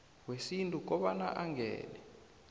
wesintu kobana angene